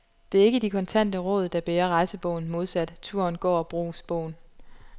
Det er ikke de kontante råd, der bærer rejsebogen, modsat turen-går-brugsbogen.